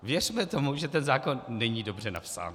Věřme tomu, že ten zákon není dobře napsán.